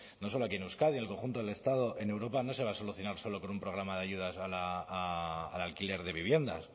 no solo aquí en euskadi el conjunto del estado en europa no se va a solucionar solo con un programa de ayudas al alquiler de viviendas